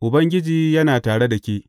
Ubangiji yana tare da ke.